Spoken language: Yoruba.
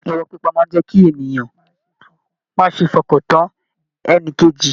Ìrọ́ pípa máa n jẹ kí ènìyàn má ṣe f'ọkan tán ẹnìkejì.